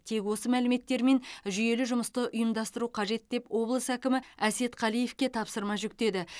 тек осы мәліметтермен жүйелі жұмысты ұйымдастыру қажет деп облыс әкімі әсет қалиевке тапсырма жүктеді